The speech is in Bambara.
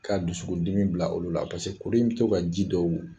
K'a dusukun dimi bila olu la paseke kuru in bɛ to ka ji dɔw